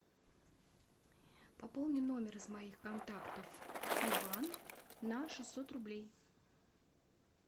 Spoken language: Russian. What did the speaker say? пополни номер из моих контактов иван на шестьсот рублей